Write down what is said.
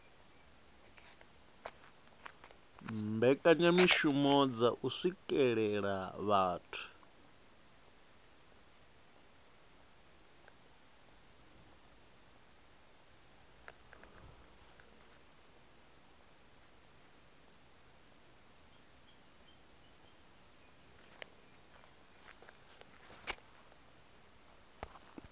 mbekanyamishumo dza u swikelela vhathu